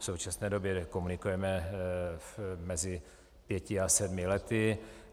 V současné době komunikujeme mezi pěti a sedmi lety.